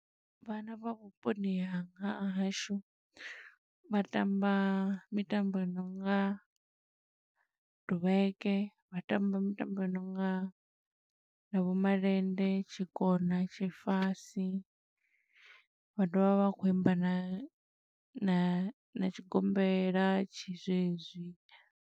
Vhana vha vhuponi hanga, ha hashu vha tamba mitambo yo nonga duvheke. Vha tamba mitambo ya nonga na vho malende, tshikona, tshifasi, vha dovha vha vha vha khou imba na na tshigombela tshi zwe zwi.